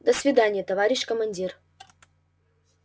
до свидания товарищ командир